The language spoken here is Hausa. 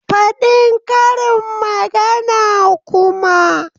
Fadin karin magana kuma!